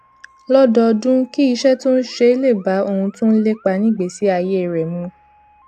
lọdọọdún kí iṣẹ tó ń ṣe lè bá ohun tó ń lépa nígbèésí ayé rẹ mu